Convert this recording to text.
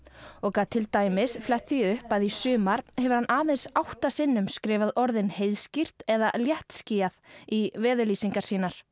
og gat til dæmis flett því upp að í sumar hefur hann átta sinnum skrifað orðin heiðskírt eða léttskýjað í veðurlýsingar sínar